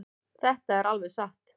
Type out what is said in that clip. Þetta er alveg satt.